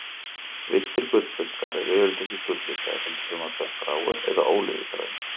Villtir gullfiskar eru yfirleitt ekki gulllitaðir, heldur fremur dökkgráir eða ólífugrænir.